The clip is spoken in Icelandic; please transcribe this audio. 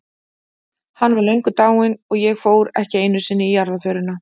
Hann var löngu dáinn- og ég fór ekki einu sinni í jarðarförina.